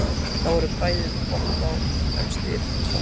Þar voru bræður Kobba fremstir í flokki.